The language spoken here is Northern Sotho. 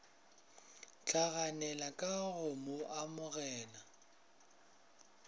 hlaganela ka go mo amoga